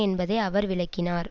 என்பதை அவர் விளக்கினார்